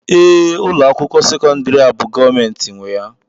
ee, ụlọ akwụkwọ sekọndrị a bụ gọọmentị nwe ya